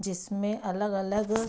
जिसमें अलग-अलग --